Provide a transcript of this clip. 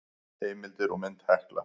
Heimildir og mynd Hekla.